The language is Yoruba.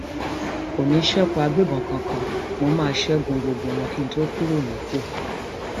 kò ní í ṣekú agbébọn kankan mo má a ṣẹgun gbogbo wọn kí n tóó kúrò nípò